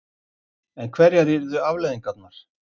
En hverjar yrðu afleiðingarnar?